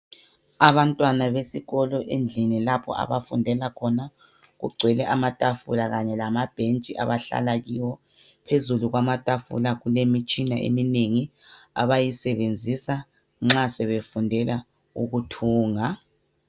Abantwana besikolo endlini lapho abafundela khona. Kugcwele amatafula kanye lamabhentshi abahlala kiwo. Phezulu kwamatafula kulemitshina eminengi abayisebenzisa nxa sebefundela ukuthunga.